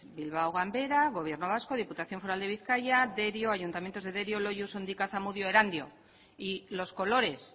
bilbao ganbera gobierno vasco diputación foral de bizkaia derio ayuntamientos de derio loiu sondika zamudio erandio y los colores